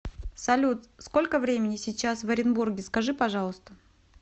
салют сколько времени сейчас в оренбурге скажи пожалуйста